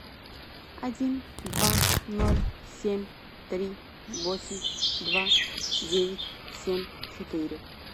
один два ноль семь три восемь два девять семь четыре